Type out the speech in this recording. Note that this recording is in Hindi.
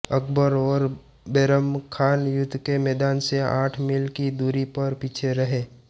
अकबर और बैरम खान युद्ध के मैदान से आठ मील की दूरी पर पीछे रहे